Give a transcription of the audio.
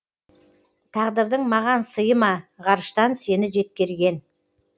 тағдырдың маған сыйы ма ғарыштан сені жеткерген